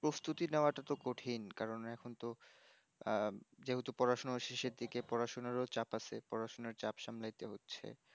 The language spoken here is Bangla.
প্রস্তুতি নেওয়াটা তো কঠিন কারণ এখন তো আহ যেহেতু পড়াশোনা শেষের দিকে পড়াশোনার ও চাপ আছে। পড়াশোনার চাপ সামলাইতে হচ্ছে।